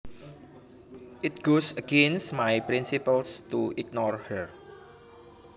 It goes against my principles to ignore her